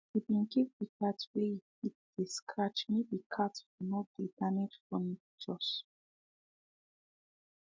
he been give the cat wey e fit dey scratch make the cat for no dey damage furnitures